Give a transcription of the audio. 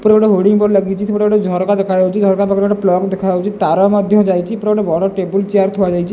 ଉପରେ ଗୋଟେ hoarding board ଲାଗିଛି ଉପରେ ଗୋଟେ ଝରକା ଦେଖାଯାଉଛି ଝରକା ପାଖରେ ଗୋଟେ ପ୍ଲକ୍ ଦେଖାଯାଉଛି ତାର ମଧ୍ୟ ଯାଇଛି ଉପରେ ବଡ଼ ଟେୁବୁଲ୍ ଚେୟାର ଥୁଆଯାଇଛି।